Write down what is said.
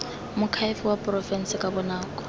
moakhaefe wa porofense ka bonako